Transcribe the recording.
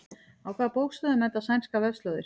Á hvaða bókstöfum enda sænskar vefslóðir?